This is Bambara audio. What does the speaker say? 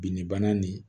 Binnibana nin